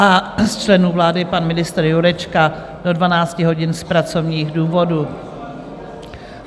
A z členů vlády pan ministr Jurečka do 12 hodin z pracovních důvodů.